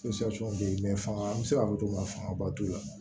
bɛ yen fanga an bɛ se k'a fɔ cogo min na fangaba t'u la